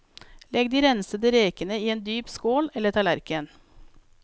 Legg de rensede rekene i en dyp skål eller tallerken.